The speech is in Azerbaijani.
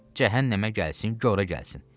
Cəhənnəmə gəlsin, qora gəlsin.